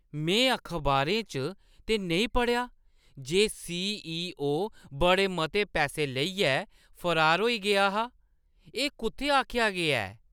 में अखबारें च ते नेईं पढ़ेआ जे सी.ई.ओ. बड़े मते पैसै लेइयै फरार होई गेआ हा। एह् कुʼत्थै आखेआ गेआ ऐ?